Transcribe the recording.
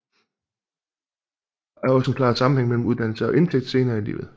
Der er også en klar sammenhæng mellem uddannelse og indtægt senere i livet